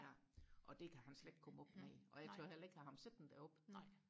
ja og det kan han slet ikke komme op i og jeg tør heller ikke have ham siddende deroppe